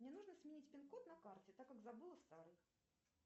мне нужно сменить пин код на карте так как забыла старый